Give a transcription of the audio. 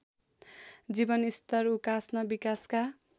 जीवनस्तर उकास्न विकासका